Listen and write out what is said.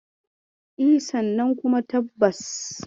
E, sannan kuma tabbas.